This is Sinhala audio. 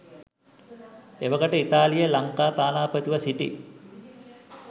එවකට ඉතාලියේ ලංකා තානාපතිව සිටි